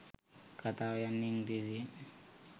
කතාව යන්නේ ඉංග්‍රීසියෙන්.